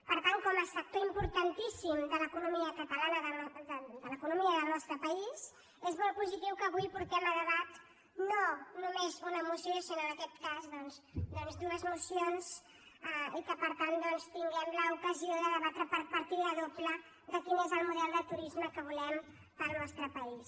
per tant com a sector importantíssim de l’economia catalana de l’economia del nostre país és molt positiu que avui portem a de·bat no només una moció sinó en aquest cas dues mo·cions i que per tant tinguem l’ocasió de debatre per partida doble quin és el model de turisme que volem per al nostre país